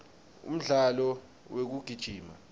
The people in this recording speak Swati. umdlalo wekugijima